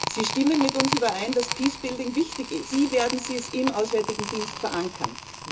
Sie stimmen mit uns überein, dass Peacebuilding wichtig ist. Aber wie werden Sie es im Auswärtigen Dienst verankern?